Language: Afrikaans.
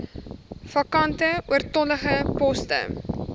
vakante oortollige poste